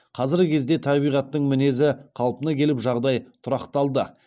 қазіргі кезде табиғаттың мінезі қалпына келіп жағдай тұрақталды